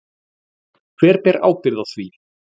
Hver ber ábyrgð á því?